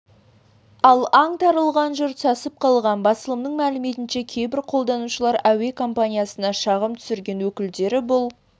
ал аңтарылған жұрт сасып қалған басылымның мәліметінше кейбір қолданушылар әуе компаниясына шағым түсірген өкілдері бұл